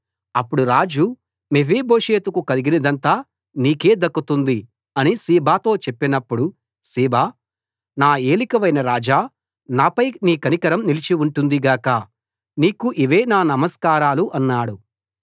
అప్పుడు రాజు మెఫీబోషెతుకు కలిగినదంతా నీకే దక్కుతుంది అని సీబాతో చెప్పినప్పుడు సీబా నా ఏలికవైన రాజా నాపై నీ కనికరం నిలిచి ఉంటుంది గాక నీకు ఇవే నా నమస్కారాలు అన్నాడు